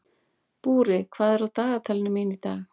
Búri, hvað er á dagatalinu mínu í dag?